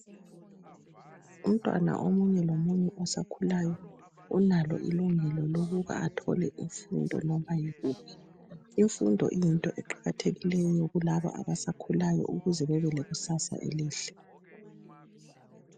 Umntwana omunye lomunye osakhulayo unalo ilungelo lokuba athole imfundo noma yikuphi. Imfundo iyinto eqakathekileyo kulabo abasakhulayo ukuze babe lekusasa elìhle.